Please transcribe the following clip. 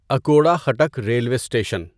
Akora Khattak railway station